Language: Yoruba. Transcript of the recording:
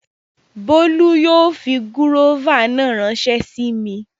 Bólú yóò fi gúróvà náà ránsẹ́ sí mi